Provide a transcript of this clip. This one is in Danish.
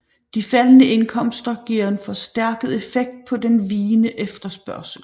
De faldende indkomster giver en forstærket effekt på den vigende efterspørgsel